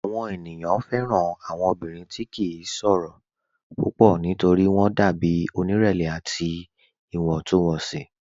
Awọn ènìyàn fẹ́ran awọn ọ̀bìnrin tí kì n ṣòro púpọ̀ nítorí wọn dàbí onírẹ̀lẹ̀ àti iwọntúnwọnsì.